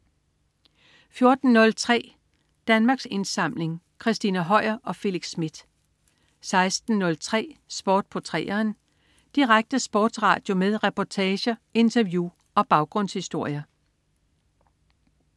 14.03 Danmarks Indsamling. Christina Høier og Felix Smith 16.03 Sport på 3'eren. Direkte sportsradio med reportager, interview og baggrundshistorier